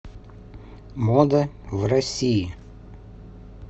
мода в россии